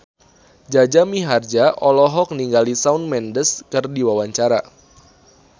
Jaja Mihardja olohok ningali Shawn Mendes keur diwawancara